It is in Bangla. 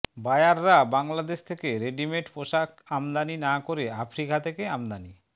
বায়াররা বাংলাদেশ থেকে রেডিমেট পোশাক আমদানি না করে আফ্রিকা থেকে আমদানি